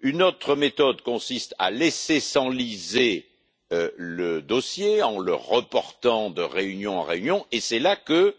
Une autre méthode consiste à laisser s'enliser le dossier en le reportant de réunion en réunion, et c'est là que